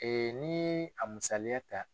ni a musaliya ta.